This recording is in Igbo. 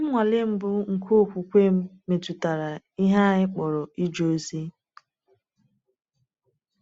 Nnwale mbụ nke okwukwe m metụtara ihe anyị kpọrọ ije ozi.